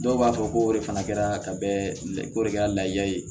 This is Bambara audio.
Dɔw b'a fɔ ko o de fana kɛra ka bɛn o de kɛra laja ye